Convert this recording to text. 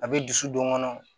A bɛ dusu don n kɔnɔ